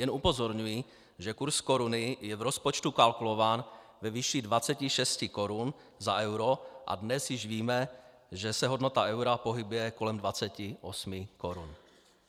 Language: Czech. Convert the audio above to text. Jen upozorňuji, že kurz koruny je v rozpočtu kalkulován ve výši 26 korun za euro a dnes již víme, že se hodnota eura pohybuje kolem 28 korun.